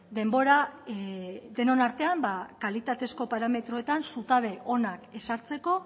denbora denon artean kalitatezko parametroetan zutabe onak ezartzeko